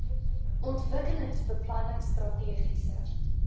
ontwikkelingsbeplanningstrategiese